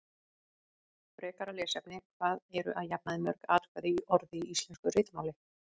Frekara lesefni: Hvað eru að jafnaði mörg atkvæði í orði í íslensku ritmáli?